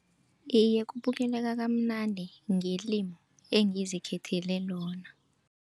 Iye, kubukeleka kamnandi ngelimu engizikhethele lona.